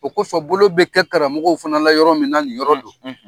O kosɔn bolo bɛ kɛ karamɔgɔw fana la yɔrɔ min na, nin yɔrɔ don.